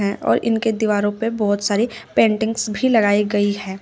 हैं और इनके दीवारों पे बहुत सारी पेंटिंग्स भी लगाई गई है।